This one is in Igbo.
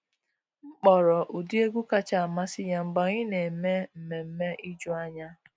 M kpọrọ ụdị egwu kacha amasị ya mgbe anyị na eme mmemme ijuanya.